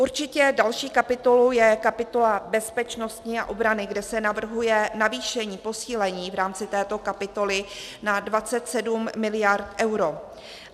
Určitě další kapitolou je kapitola bezpečnosti a obrany, kde se navrhuje navýšení, posílení v rámci této kapitoly na 23 miliard eur.